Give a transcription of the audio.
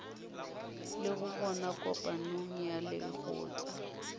lego gona kopanong ya lekgotla